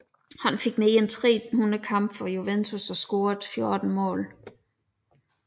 Han fik mere end 300 kampe for Juventus og scorede 14 mål